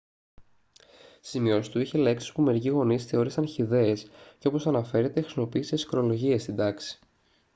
στις σημειώσεις του είχε λέξεις που μερικοί γονείς θεώρησαν χυδαίες και όπως αναφέρεται χρησιμοποίησε αισχρολογίες στην τάξη